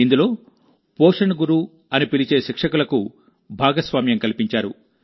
ఇందులో పోషణ్ గురు అని పిలిచే శిక్షకులకు భాగస్వామ్యం కల్పించారు